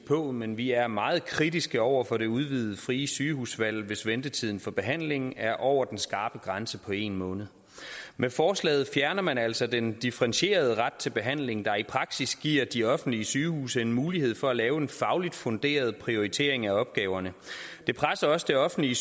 på men vi er meget kritiske over for det udvidede frie sygehusvalg hvis ventetiden for behandlingen er over den skarpe grænse på en måned med forslaget fjerner man altså den differentierede ret til behandling der i praksis giver de offentlige sygehuse en mulighed for at lave en fagligt funderet prioritering af opgaverne det presser også det offentlige